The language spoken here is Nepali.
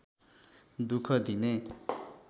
दुख दिने